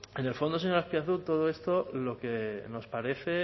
en el fondo señor azpiazu todo esto lo que nos parece